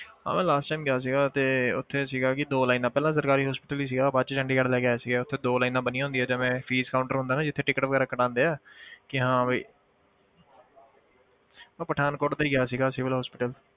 ਹਾਂ ਮੈਂ last time ਗਿਆ ਸੀਗਾ ਤੇ ਉੱਥੇ ਸੀਗਾ ਕਿ ਦੋ lines ਪਹਿਲਾਂ ਸਰਕਾਰੀ hospital ਹੀ ਸੀਗਾ ਬਾਅਦ 'ਚ ਚੰਡੀਗੜ੍ਹ ਲੈ ਕੇ ਆਇਆ ਸੀਗਾ, ਉੱਥੇ ਦੋ lines ਬਣੀਆਂ ਹੁੰਦੀਆਂ ਜਿਵੇਂ fees counter ਹੁੰਦਾ ਨਾ ਜਿੱਥੇ ticket ਵਗ਼ੈਰਾ ਕਟਵਾਉਂਦੇ ਹੈ ਕਿ ਹਾਂ ਵੀ ਮੈਂ ਪਠਾਨਕੋਟ ਦੇ ਹੀ ਗਿਆ ਸੀਗਾ civil hospital